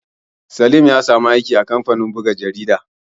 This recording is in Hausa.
Salim ya samu aiki a kamfanin buga jarida